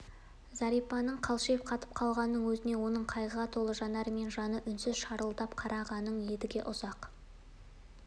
зәрипаның қалшиып қатып қалғанын өзіне оның қайғыға толы жанармен жаны үнсіз шырылдап қарағанын едіге ұзақ